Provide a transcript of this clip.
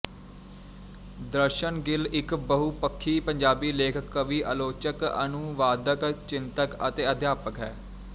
ਦਰਸ਼ਨ ਗਿੱਲ ਇੱਕ ਬਹੁਪੱਖੀ ਪੰਜਾਬੀ ਲੇਖਕ ਕਵੀ ਆਲੋਚਕ ਅਨੁਵਾਦਕ ਚਿੰਤਕ ਅਤੇ ਅਧਿਆਪਕ ਹੈ